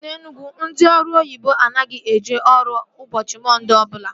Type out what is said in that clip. Na Enugwu ndị ọrụ oyibo anaghị eje ọrụ ụbọchị Mọnde ọbụla